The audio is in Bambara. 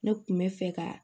Ne kun bɛ fɛ ka